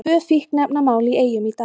Tvö fíkniefnamál í Eyjum í dag